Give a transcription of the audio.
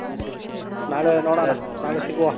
ನಾಳೆ ನೋಡಣ ನಾಳೆ ಸಿಗುವ.